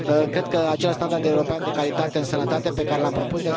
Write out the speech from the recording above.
Cred că acest standard european de calitate în sănătate pe care l am propus...